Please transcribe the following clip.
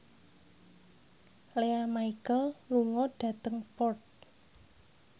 Lea Michele lunga dhateng Perth